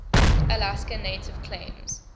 alaska native claims